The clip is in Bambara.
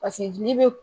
Paseke jeli be